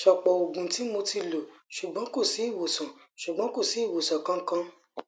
sopo oogun ti mo ti lo sugbon kosi iwosan sugbon kosi iwosan kankan